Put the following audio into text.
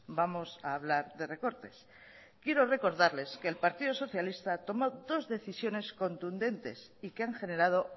vamos a hablar de recortes quiero recordarles que el partido socialista tomó dos decisiones contundentes y que han generado